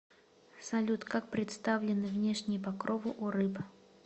салют как представлены внешние покровы у рыб